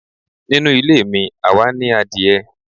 Nínù ilé mí, awá ní àdiẹ